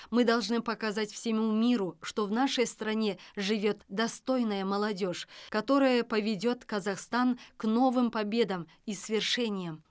мы должны показать всему миру что в нашей стране живет достойная молодежь которая поведет казахстан к новым победам и свершениям